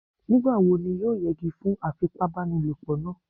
Nígbà wo ni yóò yẹgi fún afipábanílòpọ̀ náà?